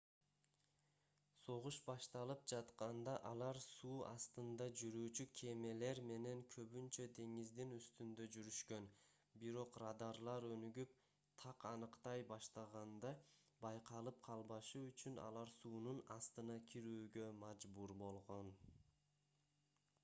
согуш башталып жатканда алар суу астында жүрүүчү кемелер менен көбүнчө деңиздин үстүндө жүрүшкөн бирок радарлар өнүгүп так аныктай баштаганда байкалып калбашы үчүн алар суунун астына кирүүгө мажбур болгон